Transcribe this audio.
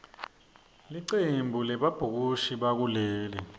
licembu lebabhukushi bakuleli